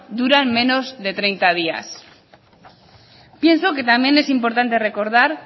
duran menos de treinta días pienso que también es importante recordar